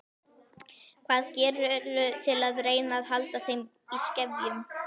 Hvað gerirðu til að reyna að halda þeim í skefjum?